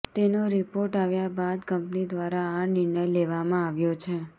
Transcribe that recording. તેનો રીપોર્ટ આવ્યા બાદ કંપની દ્વારા આ નિર્ણય લેવામાં આવ્યો છે